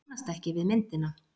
Kannast ekki við myndina.